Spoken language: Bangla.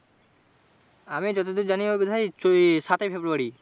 আমি যতদূর যানি ওই বোধ হয় সাত ই ফেব্রূয়ারী।